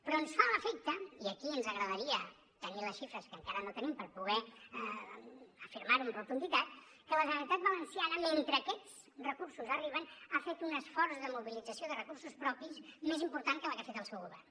però ens fa l’efecte i aquí ens agradaria tenir les xifres que encara no tenim per poder afirmar ho amb rotunditat que la generalitat valenciana mentre aquests recursos arriben ha fet un esforç de mobilització de recursos propis més important que la que ha fet el seu govern